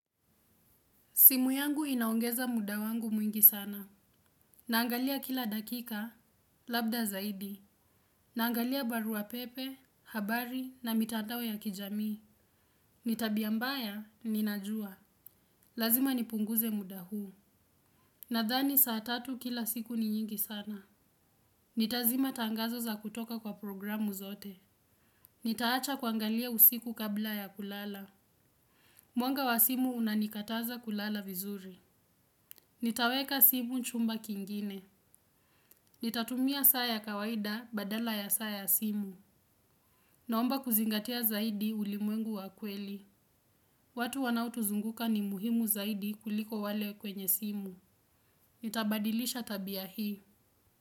Simu yangu inaongeza muda wangu mwingi sana. Naangalia kila dakika, labda zaidi. Naangalia barua pepe, habari na mitandawo ya kijami. Nitabia mbaya, ninajua. Lazima nipunguze muda huu. Nadhani saa tatu kila siku ni nyingi sana. Nitazima tangazo za kutoka kwa programu zote. Nitaacha kuangalia usiku kabla ya kulala. Mwanga wa simu unanikataza kulala vizuri. Nitaweka simu chumba kingine. Nitatumia saa ya kawaida badala ya saa ya simu. Naomba kuzingatia zaidi ulimwengu wa kweli. Watu wanao tuzunguka ni muhimu zaidi kuliko wale kwenye simu. Nitabadilisha tabia hii.